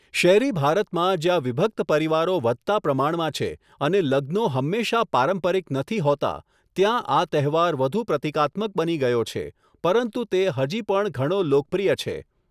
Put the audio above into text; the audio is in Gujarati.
શહેરી ભારતમાં, જ્યાં વિભક્ત પરિવારો વધતા પ્રમાણમાં છે અને લગ્નો હંમેશા પારંપરિક નથી હોતા, ત્યાં આ તહેવાર વધુ પ્રતિકાત્મક બની ગયો છે પરંતુ તે હજી પણ ઘણો લોકપ્રિય છે.